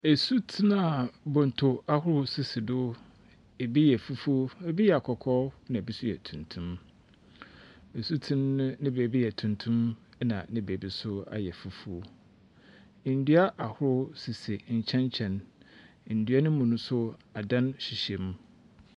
Asuten a bonto ahorow sisi do. Ebi yɛ fufuw, ebi yɛ kɔkɔɔ, na ebi nso yɛ tuntum. Nsuten ne baabi yɛ tuntun na ne baabi nso ayɛ fufuw. Ndua ahorow sisi nkyɛnkyɛn. Ndua no mu no nso, adan hyehyem.